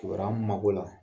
Kibaruya m ma k'o la